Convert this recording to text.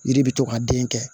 Yiri bɛ to ka den kɛ